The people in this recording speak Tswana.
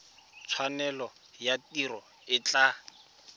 tshwanelo ya tiro e tla